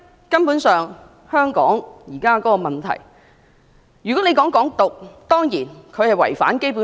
根本上，就香港現時面對的問題，"港獨"當然違反《基本法》。